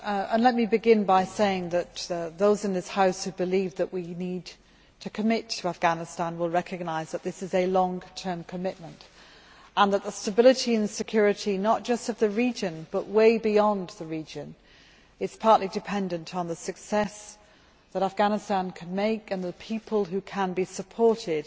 Mr President, let me begin by saying that those in this House who believe that we need to commit to Afghanistan will recognise that this is a long term commitment and that the stability and security not just of the region, but way beyond the region, are partly dependent on the success that Afghanistan can achieve and the way that its people can be supported